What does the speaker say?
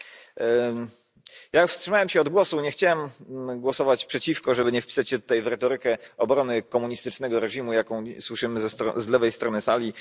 Pani Przewodnicząca! Ja wstrzymałem się od głosu. Nie chciałem głosować przeciwko, żeby nie wpisać się tutaj w retorykę obrony komunistycznego reżimu, jaką słyszymy z lewej strony sali.